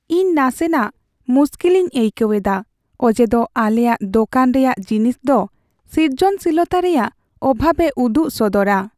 ᱤᱧ ᱱᱟᱥᱮᱱᱟᱜ ᱢᱩᱥᱠᱤᱞᱤᱧ ᱟᱹᱭᱠᱟᱹᱣ ᱮᱫᱟ ᱚᱡᱮᱫᱚ ᱟᱞᱮᱭᱟᱜ ᱫᱳᱠᱟᱱ ᱨᱮᱭᱟᱜ ᱡᱤᱱᱤᱥ ᱫᱚ ᱥᱨᱤᱡᱚᱱᱥᱤᱞᱚᱛᱟ ᱨᱮᱭᱟᱜ ᱚᱵᱷᱟᱵᱽ ᱮ ᱩᱫᱩᱜ ᱥᱚᱫᱚᱨᱼᱟ ᱾